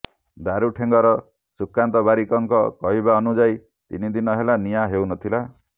ଦାରୁଠେଙ୍ଗର ସୁକାନ୍ତ ବାରିକଙ୍କ କହିବାନୁଯାୟୀ ତିନି ଦିନ ହେଲା ନିଆଁ ହେଉ ନଥିଲା